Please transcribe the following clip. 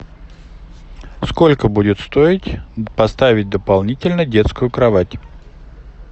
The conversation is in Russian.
сколько будет стоить поставить дополнительно детскую кровать